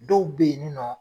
Dɔw bɛ ye nin nɔ.